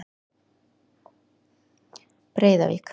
Breiðavík